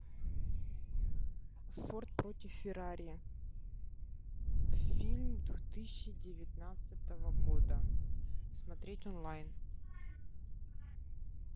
форд против феррари фильм две тысячи девятнадцатого года смотреть онлайн